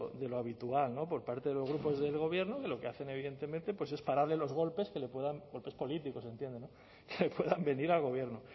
de lo habitual por parte de los grupos del gobierno lo que hacen evidentemente pues es pararle los golpes que le puedan golpes políticos entiendo que puedan venir al gobierno